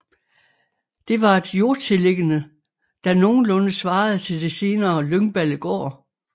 Det var et jordtilliggende der nogenlunde svarede til det senere Lyngballegård